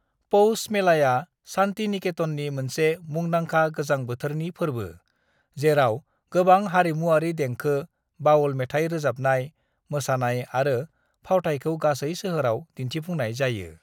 "पौष मेलाया शान्तिनिकेतननि मोनसे मुंदांखा गोजां बोथोरनि फोरबो, जेराव गोबां हारिमुआरि देंखो, बाउल मेथाइ रोजाबनाय, मोसानाय आरो फावथायखौ गासै सोहोराव दिन्थिफुंनाय जायो।"